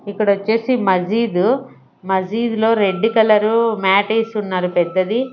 ఇక్కడ వచ్చేసి మజీద్ మజీద్ లో రెడ్ కలర్ మ్యాట్ ఉన్నారు పెద్దది.